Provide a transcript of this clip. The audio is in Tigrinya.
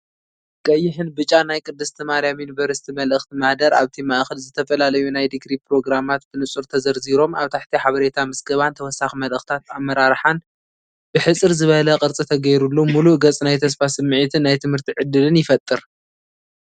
ቀይሕን ብጫን ናይ ቅድስቲ ማርያም ዩኒቨርሲቲ መልእኽቲ ማህደር፣ ኣብቲ ማእከል፡ ዝተፈላለዩ ናይ ዲግሪ ፕሮግራማት ብንጹር ተዘርዚሮም ፣ኣብ ታሕቲ ሓበሬታ ምዝገባን ተወሳኺ መልእኽትታት ኣመራርሓን ብሕጽር ዝበለን ቅርጺ ተገይሩሉ፣ ምሉእ ገጽ ናይ ተስፋ ስምዒትን ናይ ትምህርቲ ዕድልን ይፈጥር።